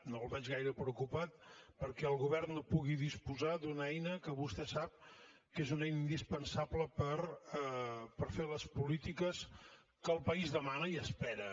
no el veig gaire preocupat perquè el govern no pugui disposar d’una eina que vostè sap que és una eina indispensable per fer les polítiques que el país demana i espera